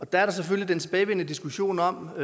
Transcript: der selvfølgelig en tilbagevendende diskussion om